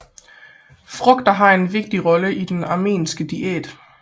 Frugter har en vigtig rolle i den armenske diæt